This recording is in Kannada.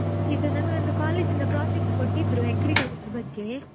ಇದು ನಮಗೊಂದು college ಇಂದ project ಕೊಟ್ಟಿದ್ರು agriculture ಬಗ್ಗೆ.